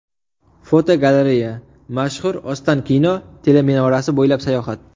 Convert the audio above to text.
Fotogalereya: Mashhur Ostankino teleminorasi bo‘ylab sayohat.